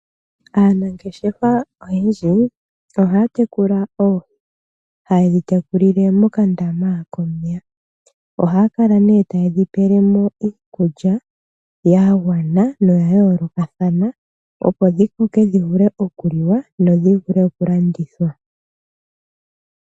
Aanangeshefa oyendji ohaya tekula oohi, haye dhi tekulile mokandama komeya. Ohaya kala nee taye dhi pele mo iikulya ya gwana noya yoolokathana, opo dhi koke dhi vule okuliwa dho dhi vule okulandithwa.